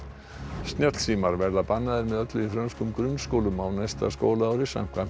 snjallsímar verða bannaðir með öllu í frönskum grunnskólum á næsta skólaári samkvæmt